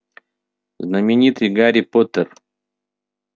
знаменитый гарри поттер